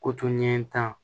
Koto ɲɛ tan